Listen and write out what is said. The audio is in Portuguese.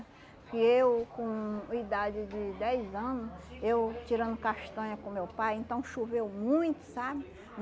E eu, com idade de dez ano, eu tirando castanha com meu pai, então choveu muito, sabe?